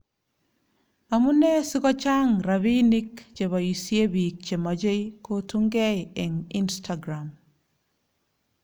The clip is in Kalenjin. Amunee sikochaa'ng rabiinik cheboisie biik che machei kotungei eng Instagram?